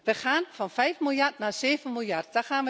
Wij gaan van 5 miljard naar 7 miljard.